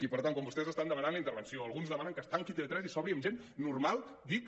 i per tant quan vostès estan demanat la intervenció alguns demanen que es tanqui tv3 i s’obri amb gent normal dic